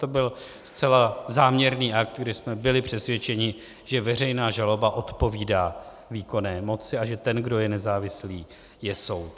To byl zcela záměrný akt, kdy jsme byli přesvědčeni, že veřejná žaloba odpovídá výkonné moci a že ten, kdo je nezávislý, je soud.